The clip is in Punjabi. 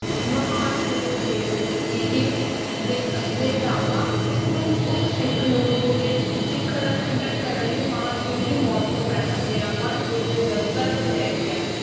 ਮਹਾਨ ਗੁਰੂ ਨੂੰ ਬੇਨਤੀ ਕੀਤੀ ਕਿ ਬੇ~ ਅਹ ਬੇਦਾਵਾ ਉਸਨੂੰ ਉਸ ਸਿੱਖ ਨੂੰ ਗੁਰੂ ਦੇ ਸਿੱਖ ਦਾ ਖੰਡਨ ਕਰਨ ਲਈ ਮਹਾਂ ਸਿੰਘ ਦੀ ਮੌਤ ਤੋਂ ਪਹਿਲਾਂ ਦਇਆਵਾਨ ਗੁਰੂ ਨੇ ਦਸਤਾਵੇਜ਼ ਲੈ ਗਿਆ